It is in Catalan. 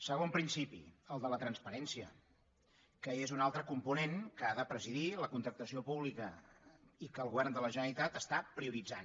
segon principi el de la transparència que és un altre component que ha de presidir la contractació pública i que el govern de la generalitat està prioritzant